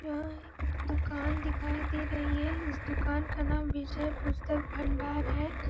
यहाँ एक दुकान दिखाई दे रही है इस दुकान का नाम विजय पुस्तक भंडार है ।